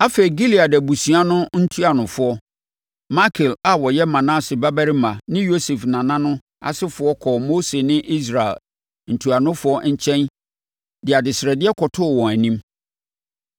Afei, Gilead abusua no ntuanofoɔ, Makir a ɔyɛ Manase babarima ne Yosef nana asefoɔ kɔɔ Mose ne Israel ntuanofoɔ nkyɛn de adesrɛdeɛ kɔtoo wɔn anim.